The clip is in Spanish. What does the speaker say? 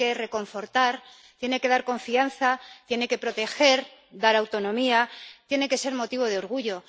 Tiene que reconfortar, tiene que dar confianza, tiene que proteger, dar autonomía. Tiene que ser motivo de orgullo.